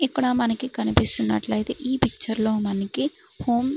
ఇక్కడ మనకి కనిపిస్తున్నట్లయితే ఈ పిక్చర్ లో మనకి ఫోన్ .